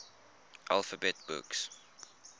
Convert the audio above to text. alphabet books